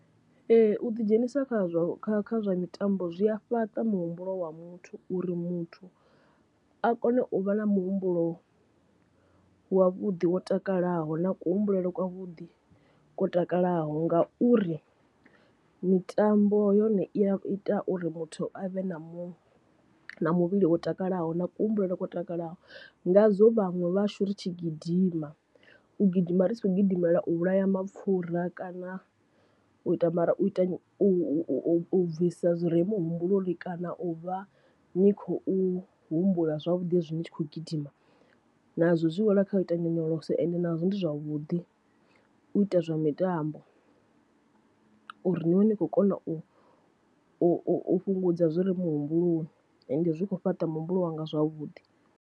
Ee u ḓi dzhenisa kha zwa mitambo zwi a fhaṱa muhumbulo wa muthu uri muthu a kone u vha na muhumbulo wavhuḓi wo takalaho na kuhumbulele kwa vhuḓi ko takalaho, ngauri mitambo yone i ya ita uri muthu avhe na mu na muvhili wo takalaho na kuhumbulele kwa takalaho. Ngazwo vhaṅwe vhashu ri tshi gidima u gidima ri tshi khou gidimela u vhulaya mapfura kana u ita mara u ita u u u bvisa zwi re muhumbuloni kana u vha ni khou humbula zwavhuḓi hezwi ni tshi khou gidima, nazwo zwi wela kha u ita nyonyoloso ende nazwo ndi zwavhuḓi u ita zwa mitambo uri ni vhe ni khou kona u u fhungudza zwori muhumbuloni ende zwi khou fhaṱa muhumbulo wanga zwavhuḓi.